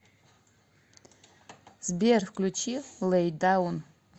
сбер включи лэй даун